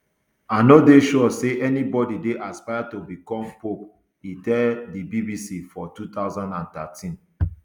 i no dey sure say anybodi dey aspire to bicom pope e tell di bbc for two thousand and thirteen